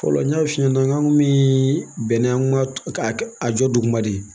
Fɔlɔ n y'a f'i ɲɛna n k'an kun bɛ bɛn ni an ka a jɔba de ye